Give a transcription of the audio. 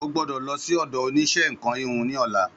Ó gbọ́dọ̀ lọ sí ọ̀dọ̀ oníṣẹ́ nkan híhun ní ola